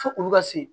Fo olu ka se